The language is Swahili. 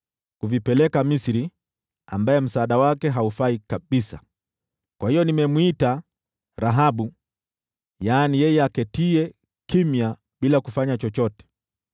kuvipeleka Misri, ambaye msaada wake haufai kabisa. Kwa hiyo nimemwita “Rahabu Asiyefanya Chochote.”